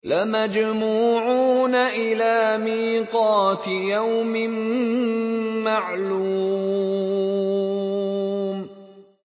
لَمَجْمُوعُونَ إِلَىٰ مِيقَاتِ يَوْمٍ مَّعْلُومٍ